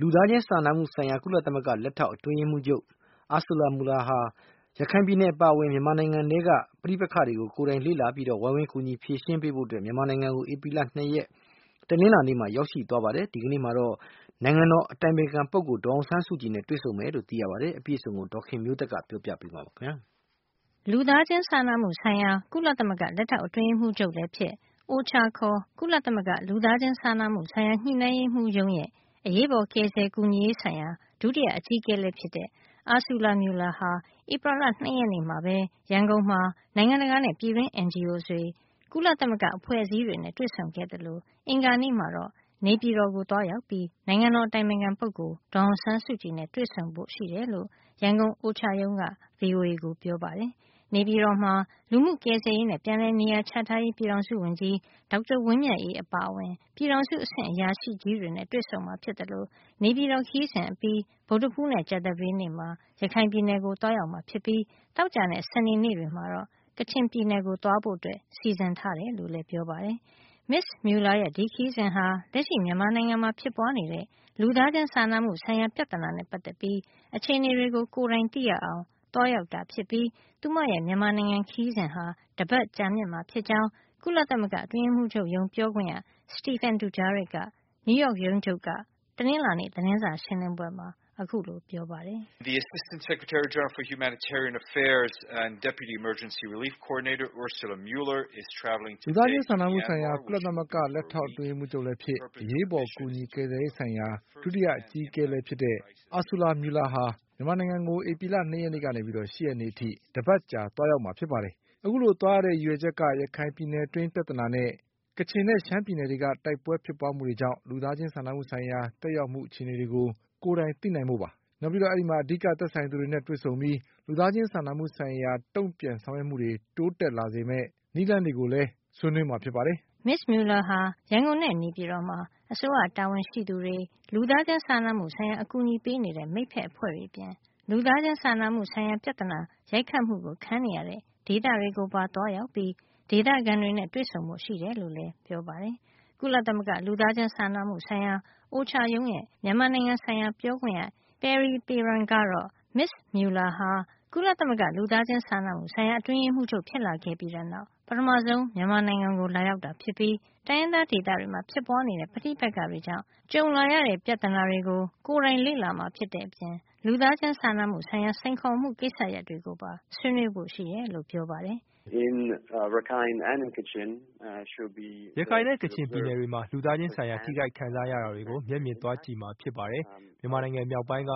လူသားချင်းစာနာမှုဆိုင်ရာ ကုလသမဂ္ဂ လက်ထောက်အတွင်းရေးမှူးချုပ် Ursula Mueller ဟာ ရခိုင်ပြည်နယ်အပါအဝင် မြန်မာနိုင်ငံထဲက ပဋိပက္ခတွေကို ကိုယ်တိုင် လေ့လာပြီး၊ ဝိုင်းကူဖြေရှင်းပေးဖို့ မြန်မာနိုင်ငံကို ဧပြီလ ၂ ရက် တနင်္လာနေ့မှာ ရောက်ရှိသွားပါပြီ။ ဒီကနေ့ တနင်္လာနေ့မှာတော့ နိုင်ငံတော်အတိုင်ပင်ခံပုဂ္ဂိုလ် ဒေါ်အောင်ဆန်းစုကြည်နဲ့ တွေ့ဆုံမှာ ဖြစ်ပါတယ်။ အပြည့်အစုံကို ဒေါ်ခင်မျိုးသက်က ပြောပြပေးမှာပါ။ လူသားချင်းစာနာမှုဆိုင်ရာ ကုလသမဂ္ဂ လက်ထောက်အတွင်းရေးမှူးချုပ်လည်းဖြစ်၊ OCHA ခေါ် ကုလသမဂ္ဂ လူသားချင်းစာနာမှုဆိုင်ရာ ညှိနှိုင်းရေးမူးရုံးရဲ့ အရေးပေါ်ကယ်ဆယ်ကူညီရေးဆိုင်ရာ ဒုတိယအကြီးအကဲလည်း ဖြစ်တဲ့ Ursula Mueller ဟာ ဧပြီလ ၂ ရက်နေ့မှာပဲ ရန်ကုန်မှာ နိုင်ငံတကာနဲ့ ပြည်တွင်း NGO တွေ၊ ကုလသမဂ္ဂ အဖွဲ့အစည်းတွေနဲ့ တွေ့ဆုံခဲ့သလို အင်္ဂါနေ့မှာတော့ နေပြည်တော်ကို သွားရောက်ပြီး နိုင်ငံတော်အတိုင်ပင်ခံပုဂ္ဂိုလ် ဒေါ်အောင်ဆန်းစုကြည်နဲ့ တွေ့ဆုံဖို့ ရှိတယ်လို့ ရန်ကုန် OCHA ရုံးက VOA ကိုပြောပါတယ်။ နေပြည်တော်မှာ လူမှုကယ်ဆယ်ရေးနဲ့ ပြန်လည်နေရာချထားရေး ပြည်ထောင်စုဝန်ကြီး ဒေါက်တာဝင်းမြတ်အေး အပါအဝင် ပြည်ထောင်စုအဆင့်အရာရှိကြီးတွေနဲ့ တွေ့ဆုံမှာသလို၊ နေပြည်တော်ခရီးစဉ်အပြီး ဗုဒ္ဓဟူးနဲ့ ကြာသပတေးနေ့မှာ ရခိုင်ပြည်နယ်ကို သွားရောက်မှာ ဖြစ်ပြီး သောကြာနဲ့ စနေနေ့တွေမှာတော့ ကချင်ပြည်နယ်ကို သွားဖို့ စီစဉ်ထားကြောင်းလည်း ပြောပါတယ်။ မစ္စ Mueller ရဲ့ ဒီခရီးစဉ်ဟာ လက်ရှိမြန်မာနိုင်ငံမှာ ဖြစ်ပွါးနေတဲ့ လူသားချင်းစာနာမှုဆိုင်ရာပြဿနာနဲ့ ပတ်သက်ပြီး အခြေနေတွေကို ကိုယ်တိုင်သိရအောင်သွားရောက်တာဖြစ်ပြီး သူမရဲ့ မြန်မာနိုင်ငံခရီးစဉ်ဟာ တပတ်ကြာမြင့်မှာ ဖြစ်ကြောင်း ကုလသမဂ္ဂအတွင်းရေးမှုးချုပ်ရုံး ပြောခွင့်ရ Stephen Dujarric က နယူးရောက်ရုံးချုပ်က တနင်္လာနေ့ သတင်းစာရှင်းလင်းပွဲမှာ ခုလိုပြောပါတယ်။ “လူသားချင်းစာနာမှုဆိုင်ရာ ကုလသမဂ္ဂ လက်ထောက်အတွင်းရေးမှူးချုပ်လည်းဖြစ်၊ အရေးပေါ်ကယ်ဆယ်ကူညီရေး ဆိုင်ရာ ဒုတိယအကြီးအကဲလည်း ဖြစ်တဲ့ Ursula Mueller ဟာ မြန်မာနိုင်ငံကို ဧပြီလ ၂ ရက်ကနေ ၈ ရက်နေ့အထိ တပါတ်ကြာ သွားရောက်မှာ ဖြစ်ပါတယ်။ အခုလို သွားရတဲ့ ရည်ရွယ်ချက်က ရခိုင်ပြည်နယ်က ပြဿနာနဲ့ ကချင်နဲ့ရှမ်းပြည်နယ်တွေက တိုက်ပွဲဖြစ်ပွါးမှုတွေကြောင့် လူသားချင်းစာနာမှုဆိုင်ရာ သက်ရောက်မှုအခြေနေတွေကို ကိုယ်တိုင်သိနိုင်ဖို့ဖြစ်ပါတယ်။ ဒါ့အပြင် အဓိကသက်ဆိုင်သူတွေနဲ့ တွေ့ဆုံပြီး လူသားချင်းစာနာမှုဆိုင်ရာ တုံ့ပြန်ဆောင်ရွက်မှုတွေ တိုးတက်စေမယ့် နည်းလမ်းတွေကို ဆွေးနွေးမှာလည်းဖြစ်ပါတယ်။” မစ္စ Mueller ဟာ ရန်ကုန်နဲ့ နေပြည်တော်မှာ အစိုးရတာဝန်ရှိသူတွေ လူသားချင်းစာနာမှုဆိုင်ရာအကူညီပေးနေတဲ့ မိတ်ဖက်အဖွဲ့တွေ အပြင် လူသားချင်းစာနာမှုဆိုင်ရာ ပြဿနာ ရိုက်ခတ်မှုခံနေရတဲ့ ဒေသတွေကိုပါ သွားရောက်ပြီး ဒေသခံတွေနဲ့ တွေ့ဆုံဖို့ရှိတယ်လို့လည်း ပြောပါတယ်။ ကုလသမဂ္ဂ လူသားချင်းစာနာမှုဆိုင်ရာ OCHA ရုံးရဲ့ မြန်မာနိုင်ငံဆိုင်ရာပြောခွင့်ရ Pierre Peron ကတော့ မစ္စ Mueller ဟာ ကုလသမဂ္ဂ လူသားချင်းစာနာမှုဆိုင်ရာ အတွင်းရေးမှုးချုပ် ဖြစ်လာခဲ့ပြီးတဲ့နောက် ပထမဆုံး မြန်မာနိုင်ငံကိုလာရောက်တာ ဖြစ်ပြီး တိုင်းရင်းသားဒေသတွေမှာ ဖြစ်ပွါးနေတဲ့ပဋိပက္ခတွေကြောင့် ဖြစ်ပွါးလာတဲ့ ပြဿနာတွေကို ကိုယ်တိုင်လေ့လာမှာ ဖြစ်တဲ့အပြင် လူသားချင်းစာနာမှုဆိုင်ရာ စိန်ခေါ်မှုကိစ္စရပ်တွေကိုပါ ဆွေးနွေးဖို့ရှိတယ်လို့ပြောပါတယ်။ “ရခိုင်နဲ့ ကချင်ပြည်နယ်တွေမှာ လူသားချင်းဆိုင်ရာ ထိခိုက်ခံစားနေရတာတွေကို မျက်မြင်သွားကြည့်မှာဖြစ်ပါတယ်။ မြန်မာနိုင်ငံမြောက်ပိုင်းက